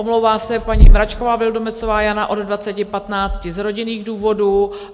Omlouvá se paní Mračková Vildumetzová Jana od 20.15 z rodinných důvodů.